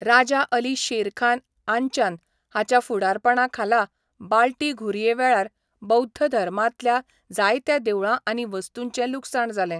राजा अली शेरखान आंचान हाच्या फुडारपणाखाला बाल्टी घुरये वेळार बौध्द धर्मांतल्या जायत्या देवळां आनी वस्तूंचें लुकसाण जालें.